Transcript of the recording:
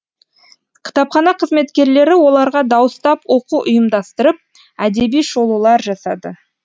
кітапхана қызметкерлері оларға дауыстап оқу ұйымдастырып әдеби шолулар жасады